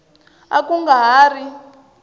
a ku nga ha ri